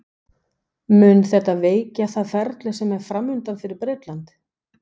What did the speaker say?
Mun þetta veikja það ferli sem er framundan fyrir Bretland?